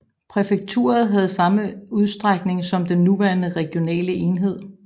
Præfekturet havde samme udstrækning som den nuværende regionale enhed